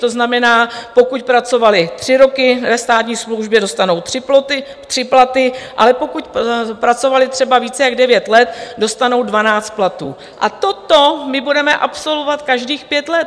To znamená, pokud pracovali tři roky ve státní službě, dostanou tři platy, ale pokud pracovali třeba více jak devět let, dostanou dvanáct platů, a toto my budeme absolvovat každých pět let.